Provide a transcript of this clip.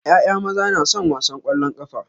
ƴaƴa maza na son wasan kwallon kafa.